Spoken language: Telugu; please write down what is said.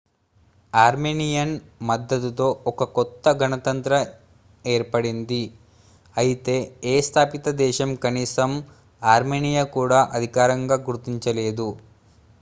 ఆర్మేనియన్ మద్దతుతో ఒక కొత్త గణతంత్రం ఏర్పడింది అయితే ఏ స్థాపిత దేశం కనీసం ఆర్మేనియా కూడా అధికారికంగా గుర్తించలేదు